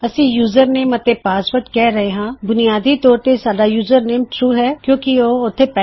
ਅਸੀਂ ਯੂਜ਼ਰਨੇਮ ਅਤੇ ਪਾਸਵਰਡ ਕਿਹ ਰਹੇ ਹਾਂ ਬੁਨਿਆਦੀ ਤੌਰ ਤੇ ਸਿਰਫ ਯੂਜ਼ਰਨੇਮ ਟਰੂ ਹੈ ਕਿੳਂ ਕਿ ਉਹ ਇਗਸਿਸਟ ਕਰਦਾ ਹੈ